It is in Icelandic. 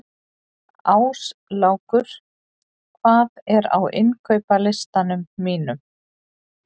Áslákur, hvað er á innkaupalistanum mínum?